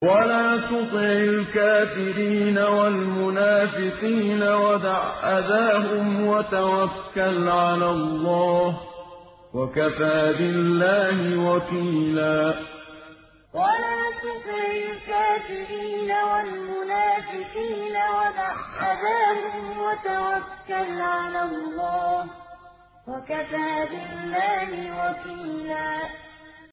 وَلَا تُطِعِ الْكَافِرِينَ وَالْمُنَافِقِينَ وَدَعْ أَذَاهُمْ وَتَوَكَّلْ عَلَى اللَّهِ ۚ وَكَفَىٰ بِاللَّهِ وَكِيلًا وَلَا تُطِعِ الْكَافِرِينَ وَالْمُنَافِقِينَ وَدَعْ أَذَاهُمْ وَتَوَكَّلْ عَلَى اللَّهِ ۚ وَكَفَىٰ بِاللَّهِ وَكِيلًا